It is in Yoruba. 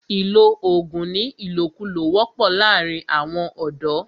ìlọ oògùn ní ìlòkulò wọ́pọ̀ láàrín àwọn ọ̀dọ̀.